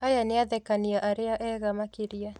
Aya nĩathekania arĩa ega makĩria